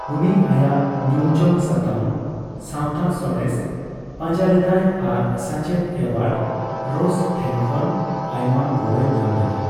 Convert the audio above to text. ᱩᱱᱤ ᱟᱭᱟᱜ ᱧᱩᱢᱡᱚᱝ ᱥᱟᱛᱟᱢ, ᱥᱟᱣᱛᱟ ᱥᱟᱬᱮᱥ, ᱯᱟᱸᱡᱟ ᱞᱮᱫᱟᱭ ᱟᱨ ᱥᱟᱪᱮᱫ ᱮᱰᱣᱟᱨᱰ ᱨᱚᱥ ᱴᱷᱮᱱᱠᱷᱚᱱ ᱟᱭᱢᱟ ᱜᱚᱲᱚᱭ ᱧᱟᱢ ᱞᱮᱫᱟ ᱾